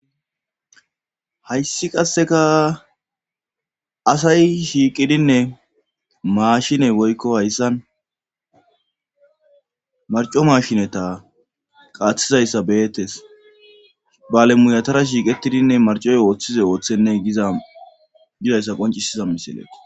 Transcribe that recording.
hayssi qasseka asay shiiqidinne maashiney woykko hayssan marco mashineta qaathizayssa beettes balemuyatara shiiqettidinne marcoy ooththize ooththenne gizayssa qoncisiza misilekko